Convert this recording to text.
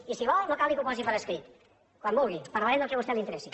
i si vol no cal ni que ho posi per escrit quan vulgui parlarem del que a vostè li interessi